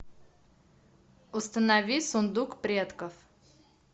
установи сундук предков